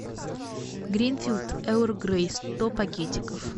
гринфилд эрл грей сто пакетиков